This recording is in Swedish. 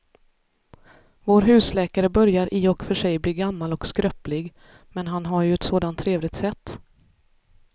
Vår husläkare börjar i och för sig bli gammal och skröplig, men han har ju ett sådant trevligt sätt!